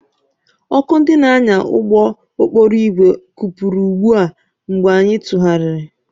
Ọkụ ndị na-anya ụgbọ okporo ígwè kụpụrụ gbuo mgbe anyị tụgharịrị.